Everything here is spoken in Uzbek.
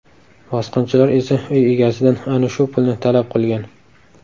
Bosqinchilar esa uy egasidan ana shu pulni talab qilgan.